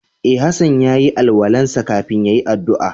E, Hassan ya yi alwala'n sa kafin ya yi addu'a.